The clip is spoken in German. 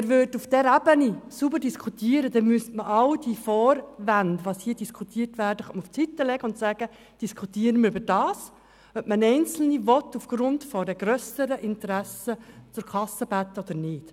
Würde man auf dieser Ebene sauber diskutieren, müssten alle Vorwände beiseite gelegt werden, und es müsste diskutiert werden, ob man Einzelne aufgrund grösserer Interessen zur Kasse bitten will oder nicht.